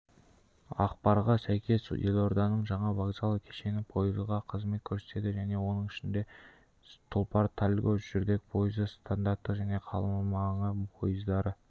ақпарға сәйкес елорданың жаңа вокзал кешені пойызға қызмет көрсетеді оның ішінде тұлпар-тальго жүрдек пойызы стандарттық және қаламаңы пойыздары